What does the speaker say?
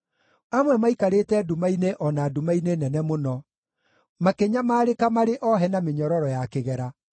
Amwe maaikarĩte nduma-inĩ o na nduma-inĩ nene mũno, makĩnyamarĩka marĩ ohe na mĩnyororo ya kĩgera,